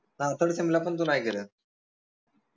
हाओ third sem ला पन तू नाई दिले